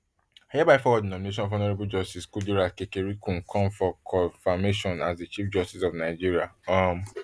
i hereby forward di nomination of honourable justice kudirat kekereekun con for confirmation as di chief justice of nigeria um